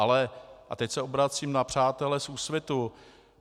Ale - a teď se obracím na přátele z Úsvitu.